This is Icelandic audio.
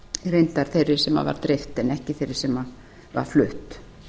reyndar þeirri sem var dreift en ekki þeirri sem var flutt